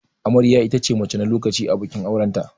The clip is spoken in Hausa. Amarya itace mace na lokacin a bikin auranta.